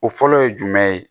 O fɔlɔ ye jumɛn ye